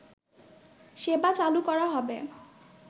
সেবা চালু করা হবে